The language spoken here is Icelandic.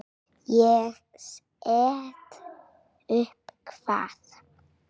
Ég set upp hvað?